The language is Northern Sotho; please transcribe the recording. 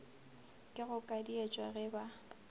ke go kadietšwa ge ba